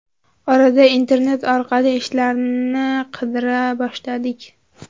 Orada internet orqali ishlarni qidira boshladik.